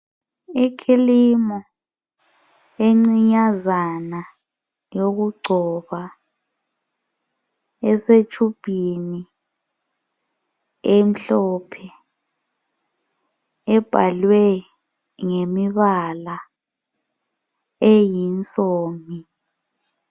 Ikhilimu encinyazana yokugcoba esetshubhini emhlophe ebhalwe ngemibala eyinsomi.